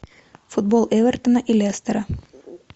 футбол эвертона и лестера